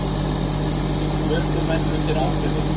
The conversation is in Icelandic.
Ökumenn undir áhrifum